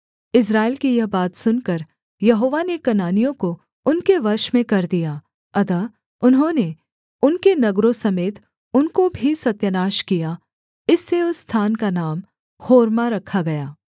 इस्राएल की यह बात सुनकर यहोवा ने कनानियों को उनके वश में कर दिया अतः उन्होंने उनके नगरों समेत उनको भी सत्यानाश किया इससे उस स्थान का नाम होर्मा रखा गया